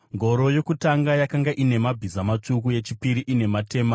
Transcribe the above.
Ngoro yokutanga yakanga ine mabhiza matsvuku, yechipiri ine matema,